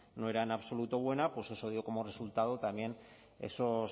no era en absoluto buena pues eso dio como resultado también